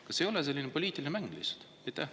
Kas see ei ole selline poliitiline mäng lihtsalt?